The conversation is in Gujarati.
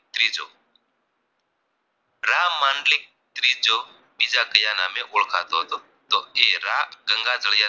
રામાનલી ત્રીજો બીજા કાયા નામે ઓળખાતો હતો તો એ રા ગંગાજળિયા